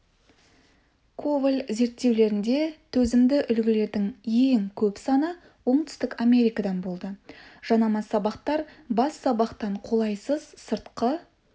коваль зерттеулерінде төзімді үлгілердің ең көп саны оңтүстік америкадан болды жанама сабақтар бас сабақтан қолайсыз сыртқы